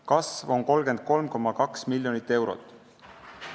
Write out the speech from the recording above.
Kasv on 33,2 miljonit eurot.